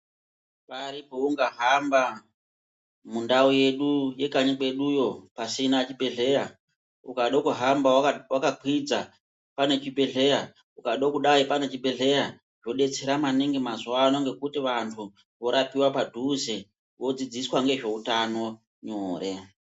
Pari poungahamba mundau yedu yekanyi kwedu yo pasina chibhedhlera ukado kuhamba waka kwidza panechibhedhlera ukadokudai panechibhedhleya zvobetsera maningi mazuwano ngekuti vantu vorapiwa padhuze vodzidziswa ngezvoutano nyore.